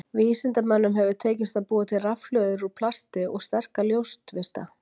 Vísindamönnum hefur tekist að búa til rafhlöður úr plasti og sterka ljóstvista.